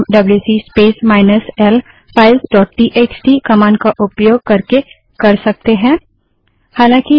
इसको हम WC space minus L files dot TXT WC space minus L files dot TXT command का उपयोग करके कर सकते हैं